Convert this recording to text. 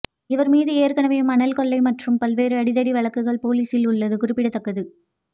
இவர் மீது ஏற்கனவே மணல் கொள்ளை மற்றும் பல்வேறு அடிதடி வழக்குகள் போலீசில் உள்ளது குறிப்பிடதக்கது